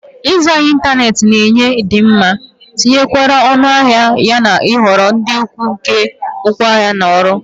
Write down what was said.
Ịzụ ahịa n'ịntanetị na-enye ịdị mma, ntụnyere ọnụahịa, yana nhọrọ dị ukwuu nke ngwaahịa na ọrụ.